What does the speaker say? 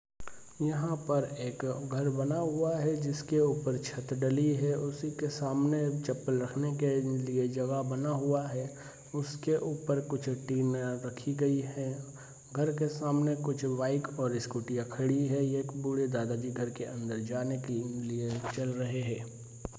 यहाँ पर एक घर बना हुआ है जिसके ऊपर छत डली है उसी के सामने चप्पल रखने के लिए जगह बना हुआ है उसके ऊपर कुछ डी मैल रखी गई है घर के सामने कुछ बाइक और स्कूटियां खड़ी हैं यह एक बूढ़े दादाजी घर के अंदर जाने के लिए चल रहे हैं।